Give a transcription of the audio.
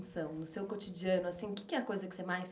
No seu cotidiano, o que é a coisa que você mais